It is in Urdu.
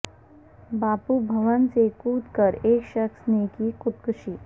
باپو بھون سے کود کرایک شخص نے کی خود کشی